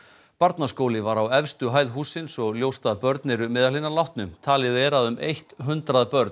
barnaskóli var á efstu hæð hússins og ljóst að börn eru meðal hinna látnu talið er að um eitt hundrað börn